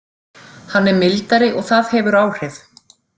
Hann er mildari og það hefur áhrif.